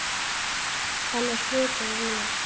Hann er hluti af mér.